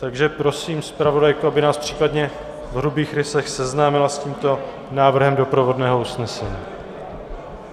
Takže prosím zpravodajku, aby nás případně v hrubých rysech seznámila s tímto návrhem doprovodného usnesení.